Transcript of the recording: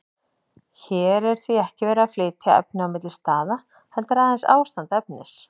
Hér er því ekki verið að flytja efni milli staða, heldur aðeins ástand efnis.